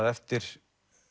eftir